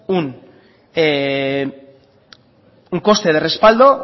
un coste de respaldo